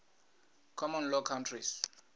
common law countries